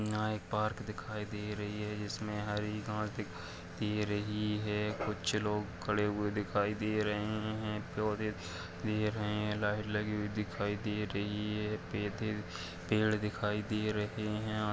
यहां एक पार्क दिखाई दे रही है। जिसमें हरी घास दिखाई दे रही है। कुछ लोग खड़े हुए दिखाई दे रहे हैं। पौधे लगे हैं। लाइट लगी दिखाई दे रही है। पेधे पेड़ दिखाई दे रहे हैं।